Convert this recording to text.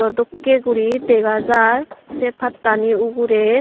dokkay guri dega jer say patani ogoray.